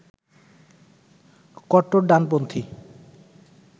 কট্টর ডানপন্থী